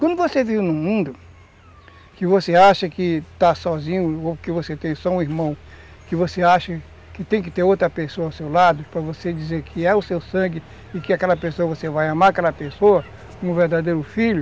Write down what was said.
Quando você vive num mundo que você acha que está sozinho ou que você tem só um irmão, que você acha que tem que ter outra pessoa ao seu lado para você dizer que é o seu sangue e que aquela pessoa você vai amar, aquela pessoa, um verdadeiro filho,